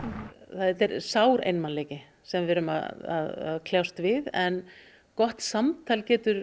þetta er sár einmanaleiki sem við erum að kljást við en gott samtal getur